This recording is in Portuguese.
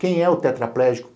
Quem é o tetraplégico?